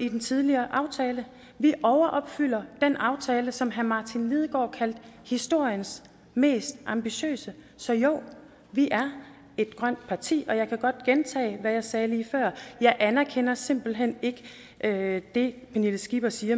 i den tidligere aftale vi overopfylder den aftale som herre martin lidegaard kaldte for historiens mest ambitiøse så jo vi er et grønt parti jeg kan godt gentage hvad jeg sagde lige før jeg anerkender simpelt hen ikke det pernille skipper siger